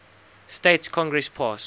states congress passed